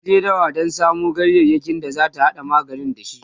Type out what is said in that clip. ta je dawa Dan samu ganyayaki da zata hada magani da shi